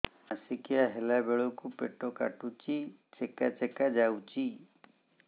ମାସିକିଆ ହେଲା ବେଳକୁ ପେଟ କାଟୁଚି ଚେକା ଚେକା ଯାଉଚି